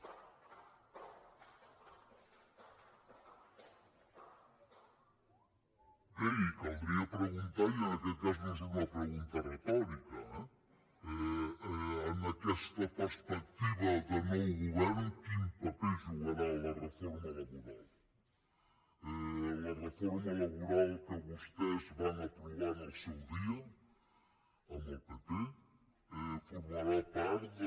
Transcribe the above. bé i caldria preguntar i en aquest cas no és una pregunta retòrica eh en aquesta perspectiva de nou govern quin paper jugarà la reforma laboral la reforma laboral que vostès van aprovar en el seu dia amb el pp formarà part del